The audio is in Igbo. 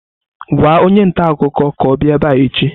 Gwa onye ntaakụkọ ka ọ bịa ebe a echi!